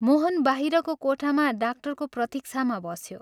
मोहन बाहिरको कोठामा डाक्टरको प्रतीक्षामा बस्यो।